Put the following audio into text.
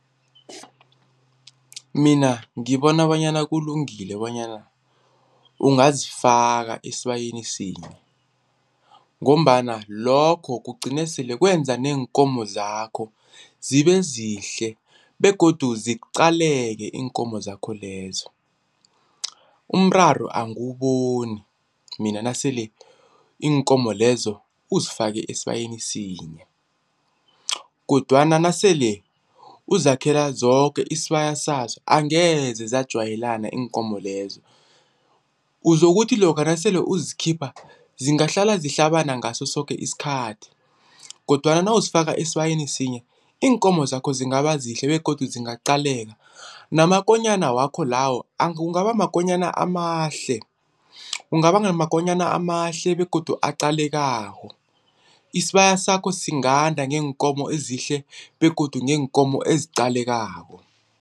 Mina ngibona bonyana kulungile bonyana ungazifaka esibayeni sinye ngombana lokho kugcine sele kwenza neenkomo zakho zibe zihle begodu ziqaleke iinkomo zakho lezo. Umraro angiwuboni mina nasele iinkomo lezo uzifake esibayeni sinye, kodwana nasele uzakhela zoke isibaya saso angeze zajwayelana iinkomo lezo uzokuthi lokha nasele uzikhipha zingahlala zihlabana ngasosoke isikhathi kodwana nawuzifaka esibayeni sinye iinkomo zakho zingaba zihle begodu zingaqaleka namakonyana wakho lawo kungaba makonyana amahle, ungaba ngamakonyana amahle begodu aqalekako. Isibaya sakho singanda ngeenkomo ezihle begodu neenkomo eziqalekako.